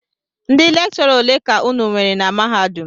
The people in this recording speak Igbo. Ndị lekchọra ole ka unu nwere na mahadum?